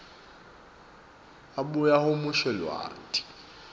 abuye ahumushe lwati